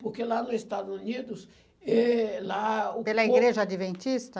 Porque lá no Estados Unidos eh lá... Pela Igreja Adventista?